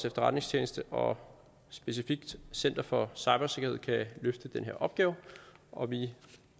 efterretningstjeneste og specifikt center for cybersikkerhed kan løfte den her opgave og vi